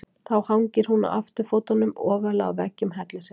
Þá hangir hún á afturfótunum ofarlega á veggjum hellisins.